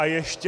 A ještě...